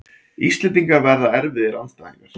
Íslendingar verða erfiðir andstæðingar